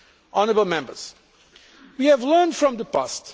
Honourable Members, we have learned from the past.